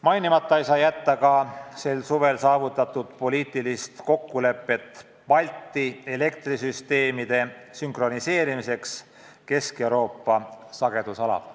Mainimata ei või jätta sel suvel saavutatud poliitilist kokkulepet Balti elektrisüsteemide sünkroniseerimiseks Kesk-Euroopa sagedusalaga.